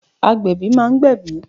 Agbẹ̀bí ma ń gbẹ̀bí.